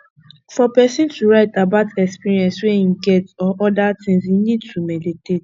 for person to write about experience wey im get or oda things im need to meditate